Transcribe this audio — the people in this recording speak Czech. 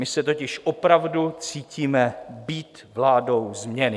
My se totiž opravdu cítíme být vládou změny.